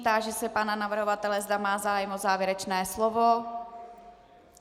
Táži se pana navrhovatele, zda má zájem o závěrečné slovo.